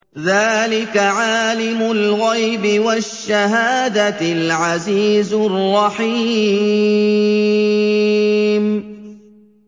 ذَٰلِكَ عَالِمُ الْغَيْبِ وَالشَّهَادَةِ الْعَزِيزُ الرَّحِيمُ